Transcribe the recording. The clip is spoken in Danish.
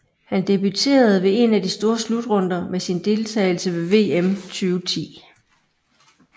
Han debuterede ved en af de store slutrunder med sin deltageles ved VM 2010